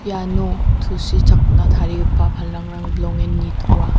iano tusichakna tarigipa palangrang bilongen nitoa.